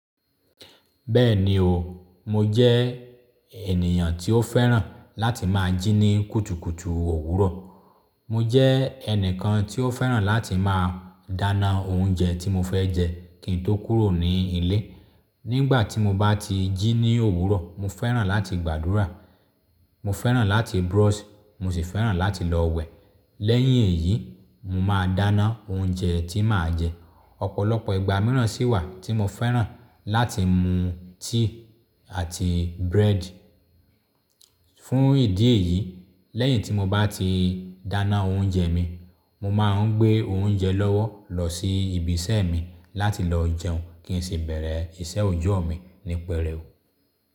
Bẹ́ẹ̀ni o, mo jẹ́ ènìyàn tí ó fẹ́ràn láti máa jí ní kùtùkùtù òwúrọ̀. Mo jẹ́ ẹnìkan tí ó fẹ́ràn láti máa dáná oúnjẹ tí mo fẹ́ jẹ kin tó kúrò ní ilé. Nígbà tí mo bá ti jí ní òwúrọ̀, mo fẹ́ràn láti gbàdúrà, mo fẹ́ràn láti brush, mo sì fẹ́ràn láti lọ wẹ̀. Lẹ́yìn èyí, mo máa dáná oúnjẹ tí màá jẹ. Ọ̀pọ̀lọpọ̀ ìgbà mìíràn sì wà tí mo fẹ́ràn láti mú tíì àti búrẹ́dì. Fún ìdí èyí, lẹ́yìn tí mo bá ti dáná oúnjẹ mi, mo máa ń gbé oúnjẹ lọ́wọ́ lọ sí ibi iṣẹ́ mi láti lọ jẹun kín sì bẹ̀rẹ̀ iṣẹ́ òòjọ́ mi ní pẹrẹu.